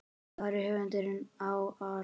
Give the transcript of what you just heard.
Hvar var höfuðið á Ara?